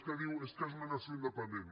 és que diu és que és una nació independent